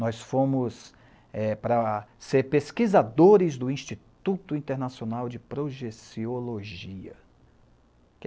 Nós fomos para ser pesquisadores do Instituto Internacional de Projeciologia.